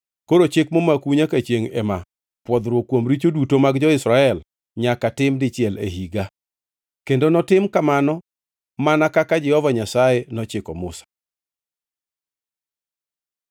“Koro chik momakou nyaka chiengʼ ema: Pwodhruok kuom richo duto mag jo-Israel nyaka tim dichiel e higa.” Kendo notim kamano mana kaka Jehova Nyasaye nochiko Musa.